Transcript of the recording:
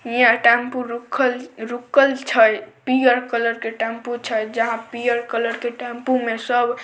यह टेंपू रुकल -रुकल छै पियर कलर के टेंपू छै जहाँ पियर कलर के टेंपू में सब --